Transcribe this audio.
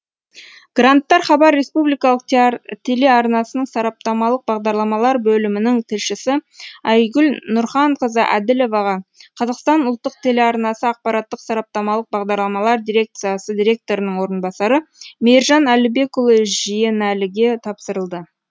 гранттар хабар республикалық телеарнасының сараптамалық бағдарламалар бөлімінің тілшісі айгүл нұрханқызы әділоваға қазақстан ұлттық телеарнасы ақпараттық сараптамалық бағдарламалар дирекциясы директорының орынбасары мейіржан әлібекұлы жиенәліге тапсырылды